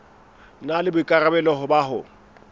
na le boikarabelo ba ho